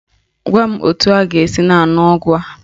Gwa m etu m ga-esi na-aṅụ ọgwụ a.